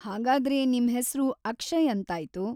ಹಾಗಾದ್ರೆ ನಿಮ್ ಹೆಸ್ರು ಅಕ್ಷಯ್ ಅಂತಾಯ್ತು.